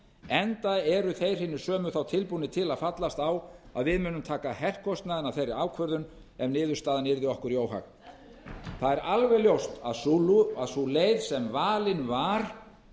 enda eru þeir hinir sömu þá tilbúnir til að fallast á að við mundum taka herkostnaðinn af þeirri ákvörðun ef niðurstaðan yrði okkur í óhag það er alveg ljóst að sú leið sem valin var